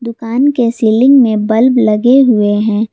दुकान के सीलिंग में बल्ब लगे हुए है।